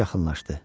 Corc yaxınlaşdı.